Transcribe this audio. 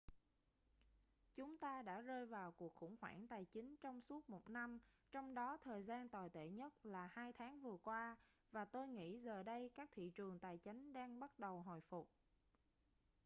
chúng ta đã rơi vào cuộc khủng hoảng tài chính trong suốt một năm trong đó thời gian tồi tệ nhất là hai tháng vừa qua và tôi nghĩ giờ đây các thị trường tài chánh đang bắt đầu hồi phục